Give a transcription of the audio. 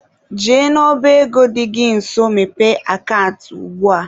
Jee n'ọba ego dị gị nso mepee akant ugbua!.